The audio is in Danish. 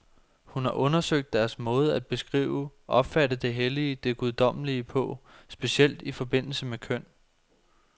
Hun har undersøgt deres måde at beskrive, opfatte det hellige, det guddommelige på, specielt i forbindelse med køn.